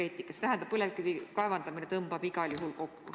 See tähendab, et põlevkivi kaevandamine tõmbub igal juhul kokku.